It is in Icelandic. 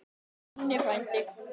Elsku Nonni frændi.